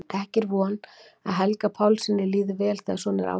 Ekki er von að Helga Pálssyni líði vel þegar svona er ástatt.